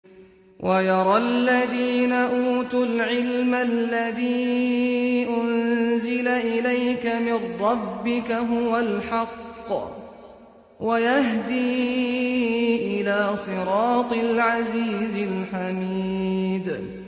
وَيَرَى الَّذِينَ أُوتُوا الْعِلْمَ الَّذِي أُنزِلَ إِلَيْكَ مِن رَّبِّكَ هُوَ الْحَقَّ وَيَهْدِي إِلَىٰ صِرَاطِ الْعَزِيزِ الْحَمِيدِ